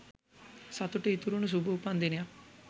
සතුට ඉතිරුනු සුභ උපන්දිනයක්